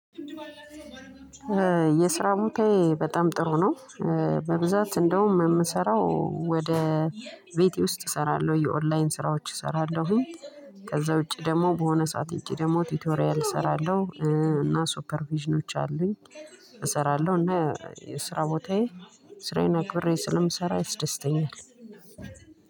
የስራ ቦታዬ በጣም ጥሩ ነው። በብዛት እንደውም የምሰራው ወደ ቤቴ ውስጥ እሰራለሁ የኦንላይን ስራዎች እሰራለሁኝ። ከዛ ውጪ ደግሞ በሆነ ሰዓት ውጪ ደግሞ ቲቶሪያል እሰራለሁ እና ሱፐር ቪዥኖች አሉኝ። እሰራለሁ እና የስራ ቦታዬ ስራዬን አክብሬ ስለምሰራ ያስደስተኛል።